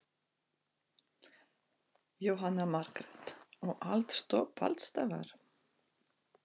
Jóhanna Margrét: Og allt stopp alls staðar?